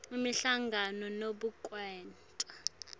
imihlangano nobe kwenta